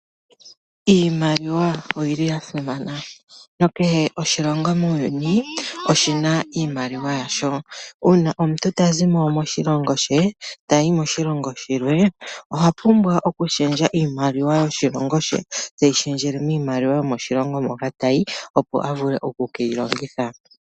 Iimaliwa oyili ya simana. Kehe oshilongo muuyuni oshina iimaliwa yasho. Uuna omuntu ta zimo moshilongo she tayi moshilongo shilwe, oha pumbwa oku shendja iimaliwa yoshilongo she teyi shendjele miimaliwa yoshilongo moka tayi opo avule oku keyi longitha.